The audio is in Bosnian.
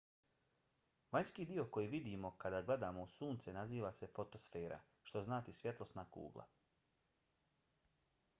vanjski dio koji vidimo kada gledamo u sunce naziva se fotosfera što znači svjetlosna kugla